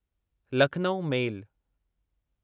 Lucknow मेल